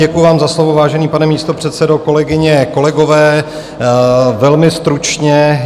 Děkuji vám za slovo, vážený pane místopředsedo. Kolegyně, kolegové, velmi stručně.